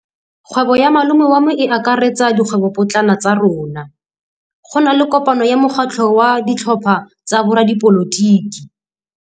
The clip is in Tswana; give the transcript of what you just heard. Kgwêbô ya malome wa me e akaretsa dikgwêbôpotlana tsa rona. Go na le kopanô ya mokgatlhô wa ditlhopha tsa boradipolotiki.